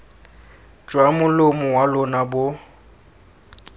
jwa molomo wa lona bo